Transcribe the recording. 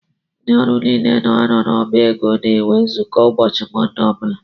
Ndị ọrụ niile nọ na ọbá égo na - enwe nzukọ ụbọchị Monde ọbula.